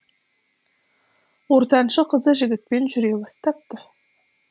ортаншы қызы жігітпен жүре бастапты